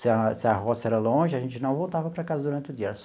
Se a se a roça era longe, a gente não voltava para casa durante o dia.